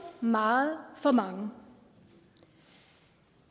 meget for mange